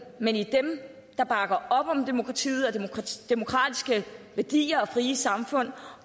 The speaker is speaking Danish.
men i dem der bakker op om demokratiet og de demokratiske værdier og de frie samfund